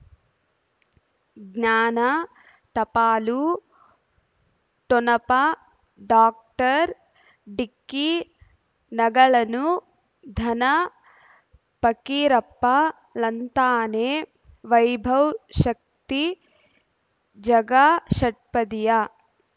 ಜ್ಞಾನ ಟಪಾಲು ಠೊಣಪ ಡಾಕ್ಟರ್ ಢಿಕ್ಕಿ ಣಗಳನು ಧನ ಪಕೀರಪ್ಪ ಳಂತಾನೆ ವೈಭವ್ ಶಕ್ತಿ ಝಗಾ ಷಟ್ಪದಿಯ